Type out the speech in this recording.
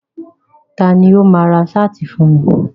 Ta ni ó máa ra ṣáàtì fún ẹ.